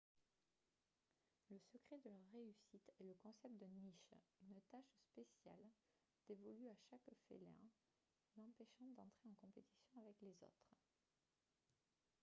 le secret de leur réussite est le concept de niche une tâche spéciale dévolue à chaque félin l'empêchant d'entrer en compétition avec les autres